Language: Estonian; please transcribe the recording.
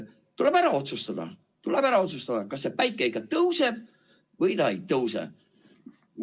Tuleb ära otsustada, kas päike ikka tõuseb või ei tõuse.